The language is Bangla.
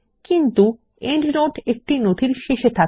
কিন্তু প্রান্তটীকা একটি নথির শেষে থাকে